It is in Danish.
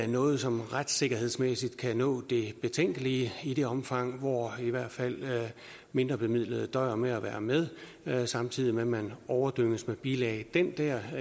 noget som retssikkerhedsmæssigt kan nå et betænkeligt omfang og hvor i hvert fald mindrebemidlede døjer med at være med med samtidig med at man overdænges med bilag det der